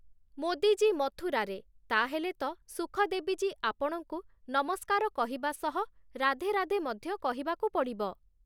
ମୋଦୀ ଜୀ ମଥୁରାରେ, ତା ହେଲେ ତ ସୁଖଦେବୀ ଜୀ, ଆପଣଙ୍କୁ ନମସ୍କାର କହିବା ସହ ରାଧେ ରାଧେ ମଧ୍ୟ କହିବାକୁ ପଡ଼ିବ ।